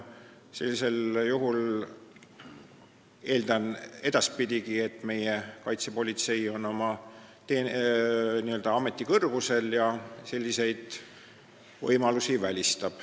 Sellisel juhul eeldan edaspidigi, et meie kaitsepolitsei on oma ameti kõrgusel ja välistab sellised võimalused.